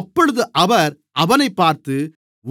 அப்பொழுது அவர் அவனைப் பார்த்து